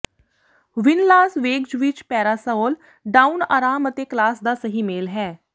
ਵਿੰਨ Las Vegas ਵਿਚ Parasol Down ਆਰਾਮ ਅਤੇ ਕਲਾਸ ਦਾ ਸਹੀ ਮੇਲ ਹੈ